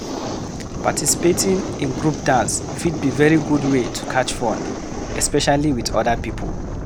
Participating in group dance fit be very good wey to catch fun especially with oda pipo